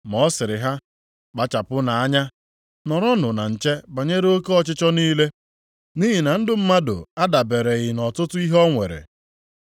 Ma ọ sịrị ha, “Kpachapụnụ anya! Nọrọnụ na nche banyere oke ọchịchọ niile, nʼihi na ndụ mmadụ adabereghị nʼọtụtụ ihe o nwere.”